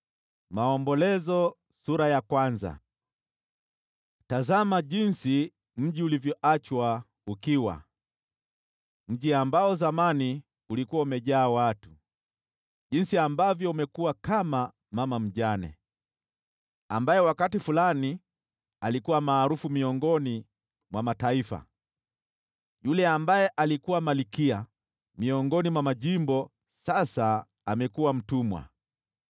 Tazama jinsi mji ulivyoachwa ukiwa, mji ambao zamani ulikuwa umejaa watu! Jinsi ambavyo umekuwa kama mama mjane, ambaye wakati fulani alikuwa maarufu miongoni mwa mataifa! Yule ambaye alikuwa malkia miongoni mwa majimbo sasa amekuwa mtumwa.